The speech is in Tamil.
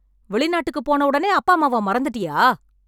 வெளிநாட்டுக்கு போன உடனே அப்பா அம்மாவ மறந்துட்டியா